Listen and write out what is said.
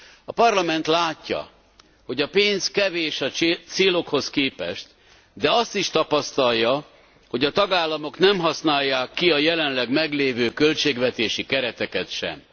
A Parlament látja, hogy a pénz kevés a célokhoz képest, de azt is tapasztalja, hogy a tagállamok nem használják ki a jelenleg meglévő költségvetési kereteket sem.